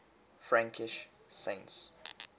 frankish saints